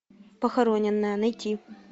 похороненная найти